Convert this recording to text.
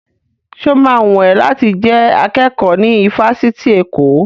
Sọ ma wùn ẹ́ láti jẹ́ akẹ́kọ̀ọ́ ní ifásitì Èkó?